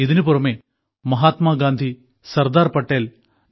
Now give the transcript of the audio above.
ഇതിനുപുറമെ മഹാത്മാഗാന്ധി സർദാർ പട്ടേൽ ഡോ